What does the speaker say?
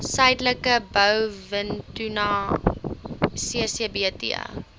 suidelike blouvintuna ccsbt